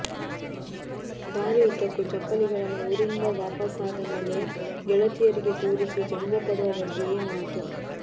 ದಾರಿ ಉದ್ದಕ್ಕೂ ಚಪ್ಪಲಿಗಳನ್ನು ಊರಿಂದ ವಾಪಾಸ್ಸಾದ ಮೇಲೆ ಗೆಳತಿಯರಿಗೆ ತೋರಿಸಿ ಜಂಭ ಪಡುವ ಬಗ್ಗೆಯೇ ಮಾತು